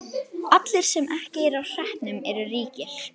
Allir sem ekki eru á hreppnum eru ríkir.